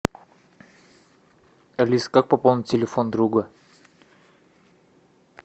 алиса как пополнить телефон друга